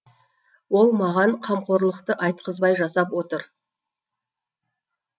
ол маған қамқорлықты айтқызбай жасап отыр